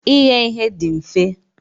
Ighe ihe dị mfe.